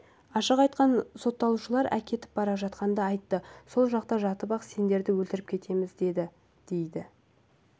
ашық айтқан сотталушылар әкетіп бара жатқанда айтты сол жақта жатып-ақ сендерді өлтіріп кетеміз деді дейді